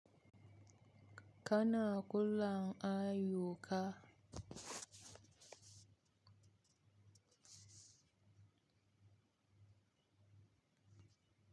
Kana kullum ayyuka.